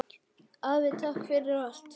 Afi, takk fyrir allt.